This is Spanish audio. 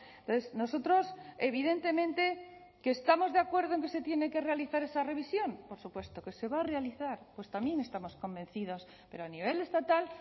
entonces nosotros evidentemente que estamos de acuerdo en que se tiene que realizar esa revisión por supuesto que se va a realizar pues también estamos convencidos pero a nivel estatal